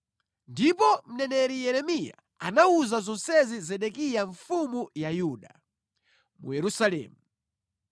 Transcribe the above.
Ndipo mneneri Yeremiya anawuza zonsezi Zedekiya mfumu ya Yuda, mu Yerusalemu.